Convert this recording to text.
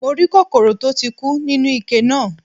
Mo rí kòkòrò tó ti kú nínú ike náà.